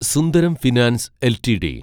Sundaram finance LTD